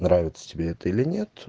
нравится тебе это или нет